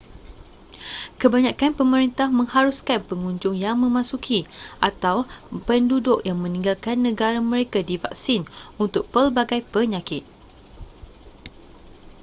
kebanyakan pemerintah mengharuskan pengunjung yang memasuki atau penduduk yang meninggalkan negara mereka divaksin untuk pelbagai penyakit